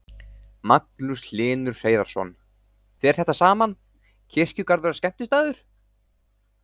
Magnús Hlynur Hreiðarsson: Fer þetta saman, kirkjugarður og skemmtistaður?